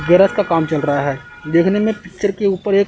Garage का काम चल रहा है। देखने मे पिक्चर के ऊपर एक--